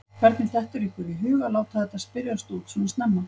Hvernig dettur ykkur í hug að láta þetta spyrjast út svona snemma?